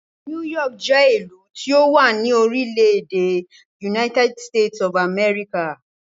New York jẹ́ ìlú tí ó wà ní orílẹ̀-èdè United States of America.